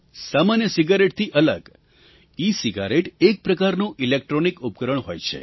સામાન્ય સિગરેટથી અલગ ઇસિગારેટ એક પ્રકારનું ઇલેક્ટ્રૉનિક ઉપકરણ હોય છે